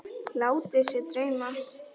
Látið sig dreyma.